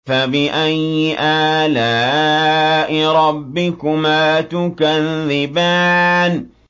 فَبِأَيِّ آلَاءِ رَبِّكُمَا تُكَذِّبَانِ